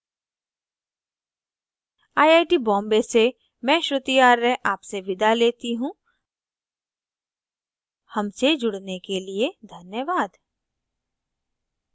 I I T Bombay से मैं श्रुति आर्य आपसे विदा लेती हूँ हमसे जुड़ने के लिए धन्यवाद